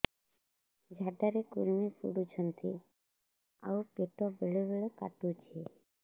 ଝାଡା ରେ କୁର୍ମି ପଡୁଛନ୍ତି ଆଉ ପେଟ ବେଳେ ବେଳେ କାଟୁଛି